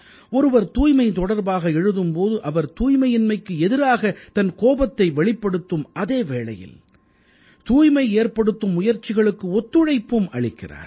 ஒருவர் தூய்மை தொடர்பாக எழுதும் போது அவர் தூய்மையின்மைக்கு எதிராகத் தன் கோவத்தை வெளிப்படுத்தும் அதே வேளையில் தூய்மை ஏற்படுத்தும் முயற்சிகளுக்கு ஒத்துழைப்பும் அளிக்கிறார்